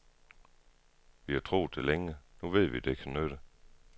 Vi har troet det længe, nu ved vi, at det kan nytte.